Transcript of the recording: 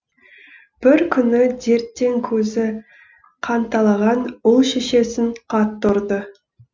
бір күні дерттен көзі қанталаған ұл шешесін қатты ұрды